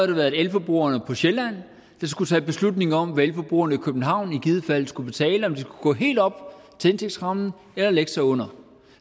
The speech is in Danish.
det været elforbrugerne på sjælland der skulle tage beslutningen om hvad elforbrugerne i københavn i givet fald skulle betale og om det skulle gå helt op til indtægtsrammen eller lægge sig under